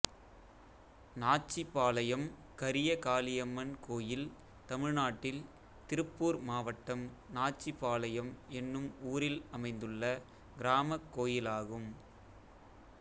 நாச்சிபாளையம் கரியகாளியம்மன் கோயில் தமிழ்நாட்டில் திருப்பூர் மாவட்டம் நாச்சிபாளையம் என்னும் ஊரில் அமைந்துள்ள கிராமக் கோயிலாகும்